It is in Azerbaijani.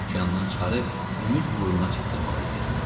Okyandan çıxarıb Ümid burnuna çatdırmalı idi.